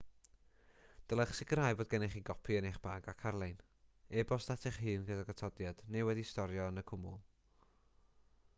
dylech sicrhau bod gennych chi gopi yn eich bag ac ar-lein e-bost at eich hun gydag atodiad neu wedi'i storio yn y cwmwl"